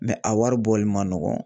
a wari bɔli man nɔgɔn.